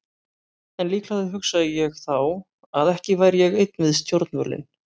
En líklega hugsaði ég þá að ekki væri ég einn við stjórnvölinn.